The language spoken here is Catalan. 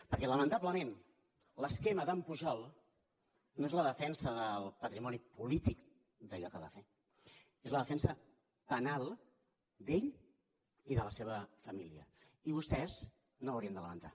perquè lamentablement l’esquema d’en pujol no és la defensa del patrimoni polític d’allò que va fer és la defensa penal d’ell i de la seva família i vostès no ho haurien de lamentar